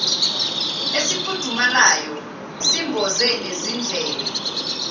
esifudumalayo simboze nezindlebe